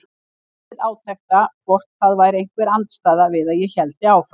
Ég beið átekta hvort það væri einhver andstaða við að ég héldi áfram.